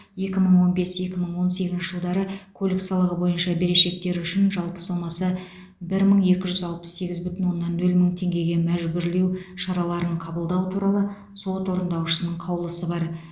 екі мың он бес екі мың он сегізінші жылдары көлік салығы бойынша берешектері үшін жалпы сомасы бір мың екі жүз алпыс сегіз бүтін оннан нөл мың теңгеге мәжбүрлеу шараларын қабылдау туралы сот орындаушысының қаулысы бар